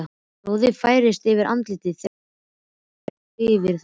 Roði færist yfir andlitið þegar hann þvertekur fyrir það.